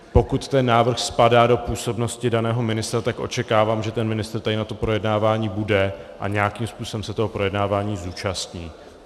Pokud ten návrh spadá do působnosti daného ministra, tak očekávám, že ten ministr tady na to projednávání bude a nějakým způsobem se toho projednávání zúčastní.